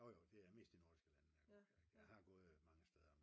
Jo jo det er mest i Nordsjælland jeg går på jagt. Jeg har gået mange steder